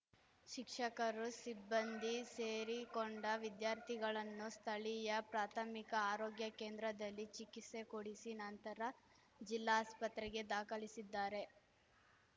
ಶಿಕ್ಷಕರು ಸಿಬ್ಬಂದಿ ಸೇರಿಕೊಂಡ ವಿದ್ಯಾರ್ಥಿಗಳನ್ನು ಸ್ಥಳೀಯ ಪ್ರಾಥಮಿಕ ಆರೋಗ್ಯ ಕೇಂದ್ರದಲ್ಲಿ ಚಿಕಿಸ್ತೆ ಕೊಡಿಸಿ ನಂತರ ಜಿಲ್ಲಾಸ್ಪತ್ರೆಗೆ ದಾಖಲಿಸಿದ್ದಾರೆ